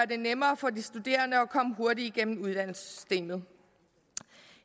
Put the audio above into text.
det nemmere for de studerende at komme hurtigt igennem uddannelsessystemet